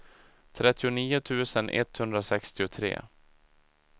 trettionio tusen etthundrasextiotre